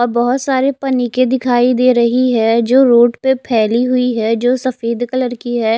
और बहोत सारे पनिके दिखाई दे रही है जो रोड पे फेली हुई है जो सफेद कलर की है।